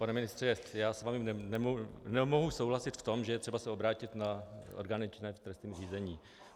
Pane ministře, já s vámi nemohu souhlasit v tom, že je třeba se obrátit na orgány činné v trestním řízení.